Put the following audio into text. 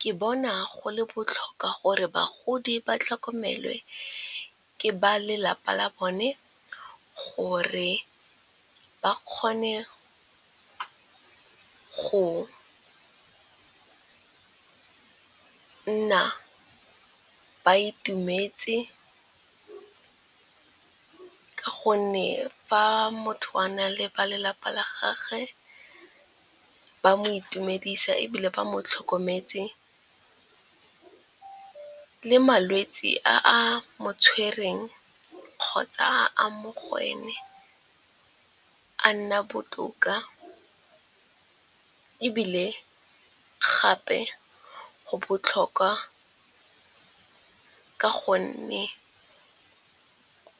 Ke bona go le botlhokwa gore bagodi ba tlhokomelwe ke ba lelapa la bone gore ba kgone go ka nna ba itumetse. Ka gonne fa motho a na le ba lelapa la gage ba mo itumedisa ebile ba mo tlhokometse le malwetse a a mo tshwereng kgotsa a mo go ene a nna botoka. E bile gape go botlhokwa ka gonne